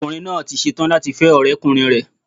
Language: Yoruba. Ọkùnrin náà tí setán láti fẹ́ ọ̀rẹ́ ọkùnrin rẹ̀